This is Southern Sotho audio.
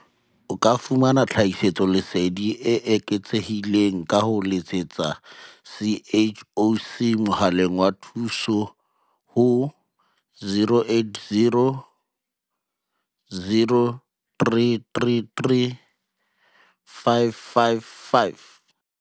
O ka fumana tlhahiso leseding e eketsehileng ka ho letsetsa CHOC mohaleng wa thuso ho 0800 333 555.